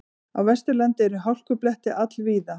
Á Vesturlandi eru hálkublettir all víða